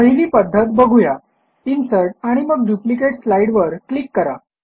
पहिली पध्दत बघू या इन्सर्ट आणि मग डुप्लिकेट स्लाईडवर क्लिक करा